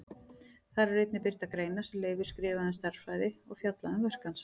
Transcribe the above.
Þar eru einnig birtar greinar sem Leifur skrifaði um stærðfræði og fjallað um verk hans.